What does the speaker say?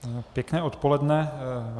Pěkné odpoledne.